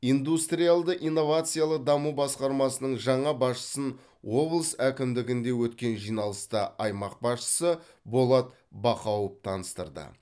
индустриалды инновациялық даму басқармасының жаңа басшысын облыс әкімдігінде өткен жиналыста аймақ басшысы болат бақауов таныстырды